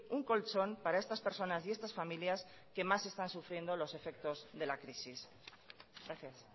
un colchón para estas personas y estas familias que más están sufriendo los efectos de la crisis gracias